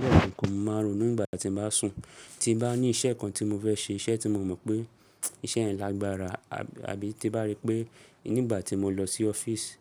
Le kanakn máa ronú nígbà tí mo bá sùn, tí bá ní iṣẹ́ kan tí mo fẹ́ ṣe iṣẹ́ tí mo mọ̀ pé iṣẹ́ yẹn lágbára àbí tí bá rí pé nígbà tí mo lọ sí ọ́fíìsì